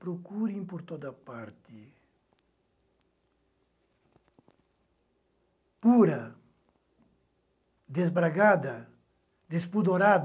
Procurem por toda parte, pura, desbragada, despudorada,